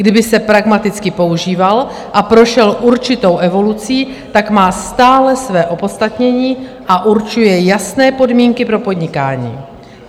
Kdyby se pragmaticky používal a prošel určitou evolucí, tak má stále své opodstatnění a určuje jasné podmínky pro podnikání.